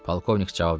Polkovnik cavab verdi.